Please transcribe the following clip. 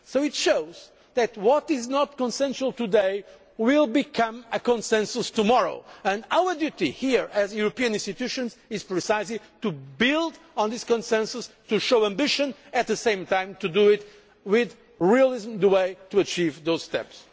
This shows that what is not agreed to today will become a consensus tomorrow, and our duty here as European institutions is precisely to build on this consensus, to show ambition but at the same time to do so with realism. This is the way to achieve those steps.